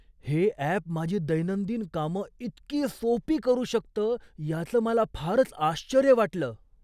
हे अॅप माझी दैनंदिन कामं इतकी सोपी करू शकतं याचं मला फारच आश्चर्य वाटलं.